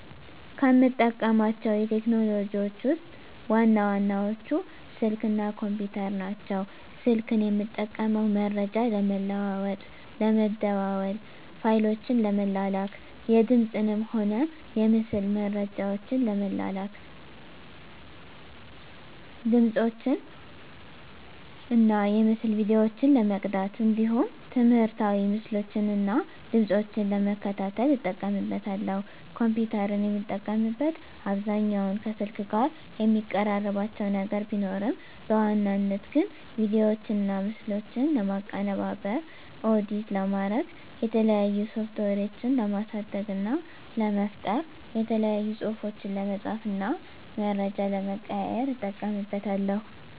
ከምጠቀማቸው ቴክኖሎጂዎችን ውስጥ ዋና ዋናዎቹ ስልክ እና ኮምፒተር ናቸው። ስልክን የምጠቀመው መረጃ ለመለዋዎጥ ለመደዋዎል፣ ፋይሎችን ለመላላክ፣ የድምፅንም ሆነ የምስል መረጃዎችን ለመላላክ፣ ድምፆችን እና የምስል ቪዲዮዎችን ለመቅዳት እንዲሁም ትምህርታዊ ምስሎችን እና ድምጾችን ለመከታተል እጠቀምበታለሁ። ኮምፒተርን የምጠቀምበት አብዛኛውን ከስልክ ጋር የሚቀራርባቸው ነገር ቢኖርም በዋናነት ግን ቪዲዮዎችና ምስሎችን ለማቀነባበር (ኤዲት) ለማድረግ፣ የተለያዩ ሶፍትዌሮችን ለማሳደግ እና ለመፍጠር፣ የተለያዩ ፅሁፎችን ለመፃፍ እና መረጃ ለመቀያየር ... እጠቀምበታለሁ።